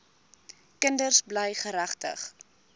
kinders bly geregtig